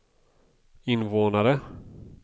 invånare